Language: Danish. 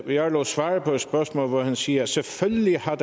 jarlov svarer på et spørgsmål hvor han siger at der selvfølgelig har